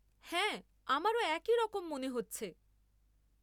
হ্যাঁ আমারও একই রকম মনে হচ্ছে।